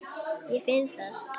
Ég finn það.